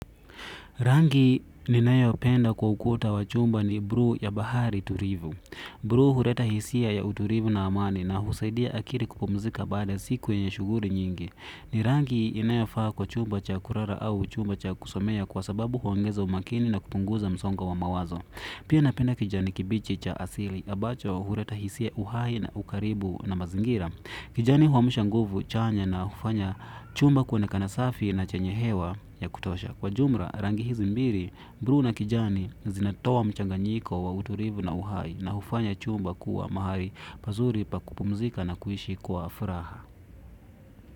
Rangi ninayo penda kwa ukuta wa chumba ni bruu ya bahari turivu. Bruu hureta hisia ya uturivu na amani na husaidia akiri kupumzika baada siku yenye shuguri nyingi. Ni rangi inayofaa kwa chumba cha kurara au chumba cha kusomea kwa sababu huongeza umakini na kupunguza msongo wa mawazo. Pia napenda kijani kibichi cha asili, ambacho hureta hisia uhai na ukaribu na mazingira. Kijani huamsha nguvu chanya na hufanya chumba kuonekana safi na chenye hewa ya kutosha. Kwa jumra, rangi hizi mbiri, bruu na kijani zinatowa mchanganyiko wa uturivu na uhai na hufanya chumba kuwa mahali pazuri pa kupumzika na kuishi kuwa furaha.